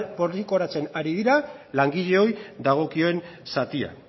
poltsikoratzen ari dira langileoi dagokion zatia